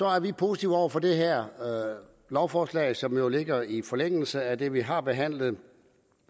er vi positive over for det her lovforslag som jo ligger i forlængelse af det vi har behandlet